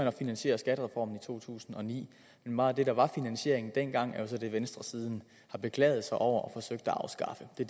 at finansiere skattereformen i to tusind og ni men meget af det der var finansieringen dengang er så det venstre siden har beklaget sig over og forsøgt at afskaffe det